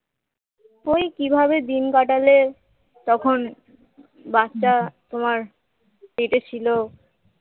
ঐ কিভাবে দিন কাটালে তখন বাচ্চা তোমার পেটে ছিল